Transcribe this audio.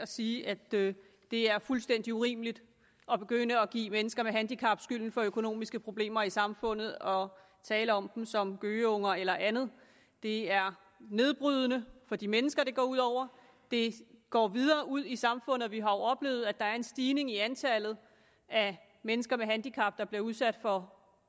sige at det er fuldstændig urimeligt at begynde at give mennesker med handicap skylden for økonomiske problemer i samfundet og tale om dem som gøgeunger eller andet det er nedbrydende for de mennesker det går ud over det går videre ud i samfundet og vi har jo oplevet at der er en stigning i antallet af mennesker med handicap der bliver udsat for